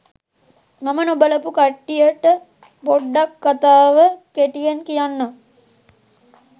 මම නොබලපු කට්ටියට පොඩ්ඩක් කථාව කෙටියෙන් කියන්නම්.